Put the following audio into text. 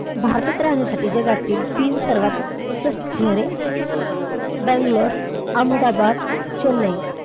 भारतात राहण्यासाठी जगातील तीन सर्वात स्वस्त शहरे बँगलोर, अहमदाबाद, चेन्नई.